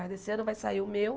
Mas esse ano vai sair o meu.